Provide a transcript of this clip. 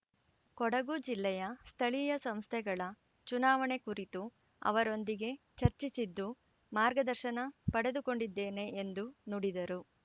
ಕೊಡಗು ಜಿಲ್ಲೆಯ ಸ್ಥಳೀಯ ಸಂಸ್ಥೆಗಳ ಚುನಾವಣೆ ಕುರಿತು ಅವರೊಂದಿಗೆ ಚರ್ಚಿಸಿದ್ದು ಮಾರ್ಗದರ್ಶನ ಪಡೆದುಕೊಂಡಿದ್ದೇನೆ ಎಂದು ನುಡಿದರು